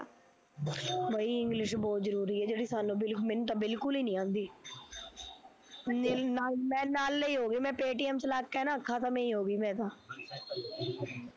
ਬਈ english ਬਹੁਤ ਜ਼ਰੂਰੀ ਜਿਹੜੀ ਸਾਨੂੰ ਮੈਨੂੰ ਤਾਂ ਬਿਲਕੁਲ ਨੀ ਈ ਆਉਂਦੀ ਨੀ ਨ null ਐ ਹੋਗੀ ਮੈਂ paytm ਚਲਾ ਕੇ ਨਾ ਖਤਮ ਈ ਹੋਗੀ ਮੈਂ ਤਾਂ